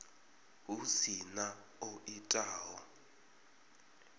hu si na o itaho